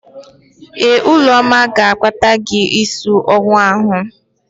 Ee, Ụlọma ga-akpata gị ísí owu ahụ.